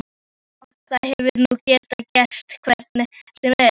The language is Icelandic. Já, það hefði nú getað gerst hvenær sem er.